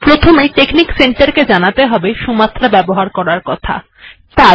প্রথমে আপনাকে technic centre কে জানাতে হবে সুমাত্রা ব্যবহার করার কথা